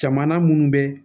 Jamana munnu bɛ